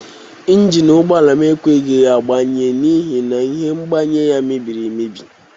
Njini ụgbọala m ekweghi agbanye n'ihi na ihe mgbanye ya mebiri emebi.